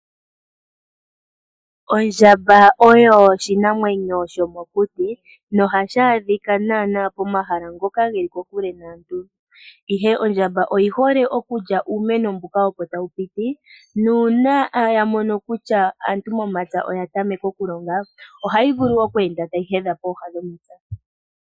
Ondjamba oyo oshinamwenyo shomokuti nohashi adhika naana pomahala ngoka he li ko kule naantu, ihe ondjamba oyi hole okulya uumeno mbuka opo tawu piti nuuna ya mono kutya aantu momapya oya tameka oku longa ohayi vulu oku enda tayi hedha pooha dhomapya.